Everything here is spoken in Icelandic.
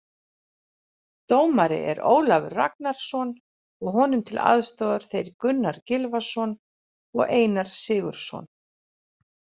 Dómari er Ólafur Ragnarsson og honum til aðstoðar þeir Gunnar Gylfason og Einar Sigurðsson.